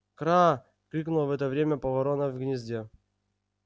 кра крикнула в это время ворона в гнезде